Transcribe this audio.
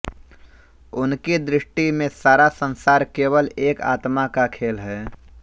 उनकी दृष्टि में सारा संसार केवल एक आत्मा का खेल है